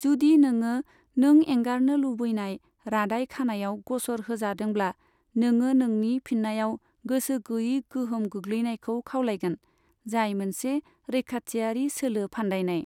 जुदि नोङो नों एंगारनो लुबैनाय रादाय खानायाव ग'सर होजादोंब्ला, नोङो नोंनि फिननायाव गोसो गैयै गोहोम गोग्लैनायखौ खावलायगोन, जाय मोनसे रैखाथियारि सोलो फान्दायनाय।